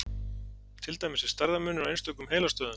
til dæmis er stærðarmunur á einstökum heilastöðvum